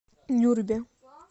нюрбе